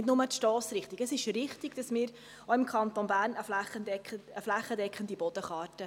Nicht nur die Stossrichtung: Es ist richtig, dass wir auch im Kanton Bern eine flächendeckende Bodenkarte erarbeiten wollen.